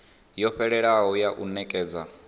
yo fhelelaho ya u nekedza